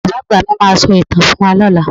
Bàbá àgbà mi máa sọ ìtàn fún wa lọ́la.